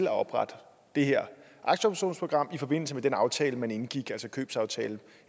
at oprette det her aktieoptionsprogram i forbindelse med den aftale man indgik altså købsaftalen